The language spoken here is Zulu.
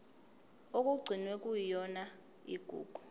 okugcinwe kuyona igugu